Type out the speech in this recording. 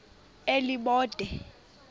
elibode